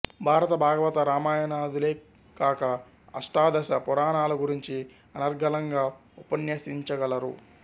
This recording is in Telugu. భారత భాగవత రామాయణాదులే కాక అష్టాదశ పురణాల గురించి అనర్గళంగా ఉపన్యసించగలరు